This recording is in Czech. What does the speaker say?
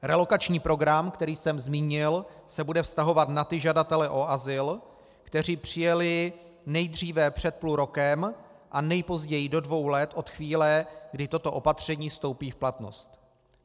Relokační program, který jsem zmínil, se bude vztahovat na ty žadatele o azyl, kteří přijeli nejdříve před půl rokem a nejpozději do dvou let od chvíle, kdy toto opatření vstoupí v platnost.